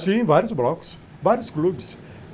Sim, vários blocos, vários clubes.